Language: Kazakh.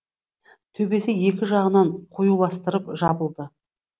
төбесі екі жағынан қиюластырып жабылды